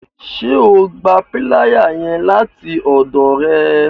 Ṣe o gbà piláyà yẹn láti ọdọ rẹ?